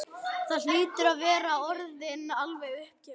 Þú hlýtur að vera orðinn alveg uppgefinn.